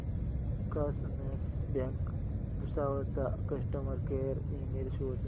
cosmos bank Bhusawal चा customer care email शोध